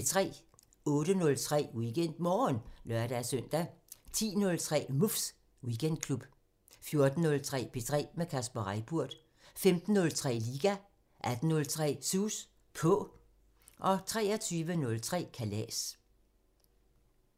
08:03: WeekendMorgen (lør-søn) 10:03: Muffs Weekendklub 14:03: P3 med Kasper Reippurt 15:03: Liga 18:03: Sus På 23:03: Kalas